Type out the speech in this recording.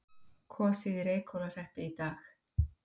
Kosið í Reykhólahreppi í dag